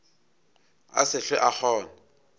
a se hlwe a kgona